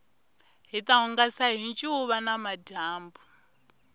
hita hungasa hi ncuva namadyambu